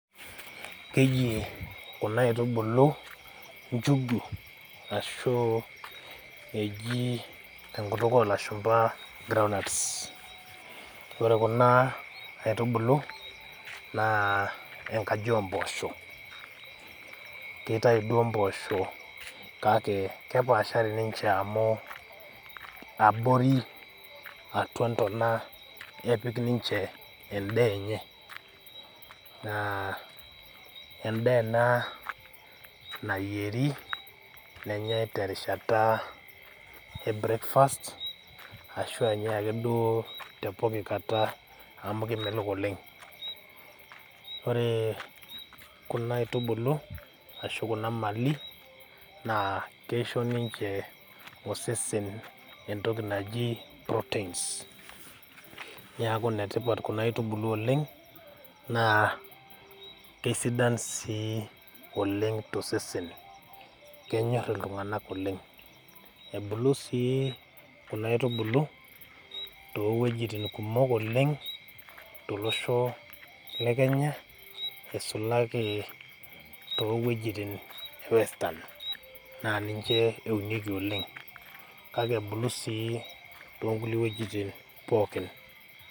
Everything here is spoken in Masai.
Kejii kuna aitubulu njugu ashuu ejii tenkutuk olashumpa groundnuts. Ore kunaa aitubulu naa enkaji ompoosho. Keitaai duo mpoosho kake kepaashari ninche amu abori atua ntona epik ninche endaaenye naa endaaena nayieri nenyai terishata e breakfast ashu enyai ake duoo tepoki kata amu kemelok oleng'. Oree kuna aitubulu ashu kuna  mali naa keisho ninche osesen entoki naji proteins neaku netipat kuna aitubulu oleng' naa kesidan sii oleng' tosesen. Kenyorr iltung'anak oleng'. Ebulu sii kuna aitubulu toowuejitin kumok oleng' tolosho le Kenya aisulaki toowuejitin ewestan naa ninche eunieki oleng'. Kake ebulu sii toonkulie wuejitin pookin.